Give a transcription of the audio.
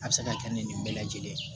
A bɛ se ka kɛ ni nin bɛɛ lajɛlen ye